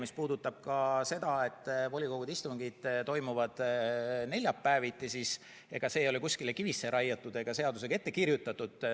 Mis puudutab seda, et volikogude istungid toimuvad neljapäeviti, siis ega see ei ole kuskile kivisse raiutud ega seadusega ette kirjutatud.